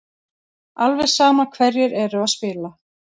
Alveg sama hverjir eru að spila.